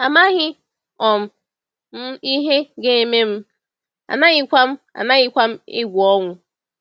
“Amaghị um m ihe ga-eme m, anaghịkwa m anaghịkwa m egwu ọnwụ.”